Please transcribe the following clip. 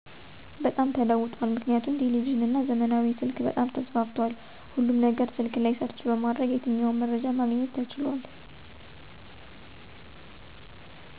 በጣም ተለውጦል ምክንያቱም ቴሌቭዥን እነ ዘመናዊ ስልክ በጣም ተስፋፍቶል ሁሉም ነገር ስልክ ላይ ሰርች በማድረግ የተኛውም መረጃ ማግኘት ተችሉአል።